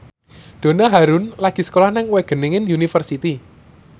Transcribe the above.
Donna Harun lagi sekolah nang Wageningen University